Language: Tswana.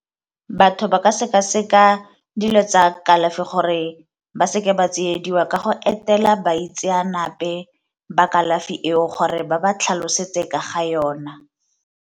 Batho ba ka seka-seka dilo tsa kalafi gore ba seke ba tsiediwa ka go etela baitseanape ba kalafi eo gore ba ba tlhalosetse ka ga yona.